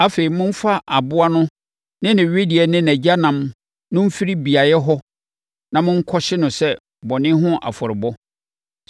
Afei, momfa aboa no ne ne wedeɛ ne nʼagyanan no mfiri beaeɛ hɔ na monkɔhye no sɛ bɔne ho afɔrebɔ.